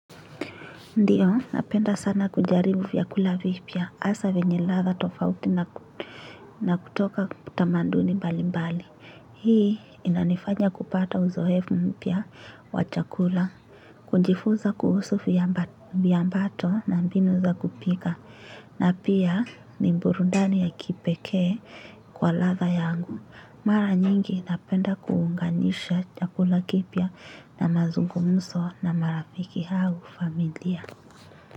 Ndiyo, napenda sana kujaribu vyakula vipya hasa vyenye ladha tofauti na kutoka tamaduni mbalimbali. Hii inanifanya kupata uzoefu mpya wa chakula, kujifunza kuhusu viambato na mbinu za kupika na pia ni burudani ya kipekee kwa ladha yangu. Mara nyingi napenda kuunganisha chakula kipya na mazungumzo na marafiki au familia.